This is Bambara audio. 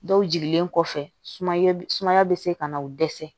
Dɔw jigilen kɔfɛ sumaya bɛ sumaya bɛ se ka na o dɛsɛ